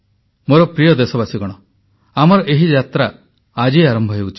ମୋର ପ୍ରିୟ ଦେଶବାସୀଗଣ ଆମର ଏହି ଯାତ୍ରା ଆଜି ଆରମ୍ଭ ହେଉଛି